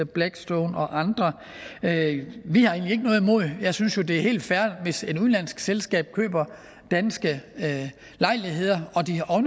blackstone og andre jeg jeg synes jo det er helt fair hvis et udenlandsk selskab køber danske lejligheder